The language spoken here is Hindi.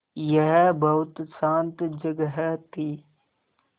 यह बहुत शान्त जगह थी